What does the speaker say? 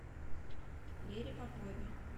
лере попове